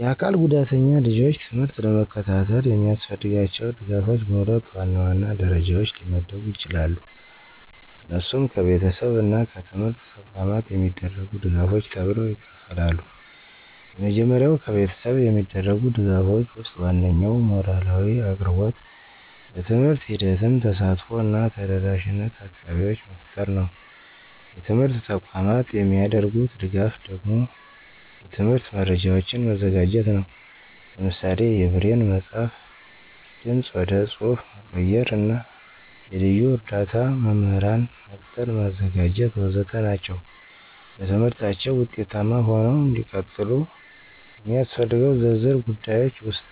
የአካል ጉዳተኛ ልጆች ትምህርት ለመከታተል የሚያስፈልጋቸው ድጋፎች በሁለት ዋናዋና ደረጃዎች ሊመደቡ ይችላሉ። እነሱም ከቤተሰብ እና ከትምህርት ተቋማት የሚደረጉ ድጋፎች ተብለው ይከፍላሉ። የመጀመሪያው ከቤተሰብ የሚደረጉ ድጋፎች ወስጥ ዋናኛው ሞራላዊ አቅርቦት፣ በትምህርት ሂደትም ተሳትፎ እና ተደረሻነት አካባቢዎች መፍጠር ነው። የትምርት ተቋማት የሚደርጉት ደጋፍ ደግሞ የትምህርት መረጃዎችን መዘጋጀት ነው። ለምሳሌ የብሬን መፅሐፍ፣ ድምፅ ወደ ፅሐፍ መቀየር እና የልዩ እርዳ መምህራን መቅጠር ማዘጋጀት.... ወዘተ ናቸው። በትምህርታችው ውጤታማ ሆነው እንዲቀጥሉ የሚስፈልገው ዝርዝር ጉዳዮች ውስጥ፦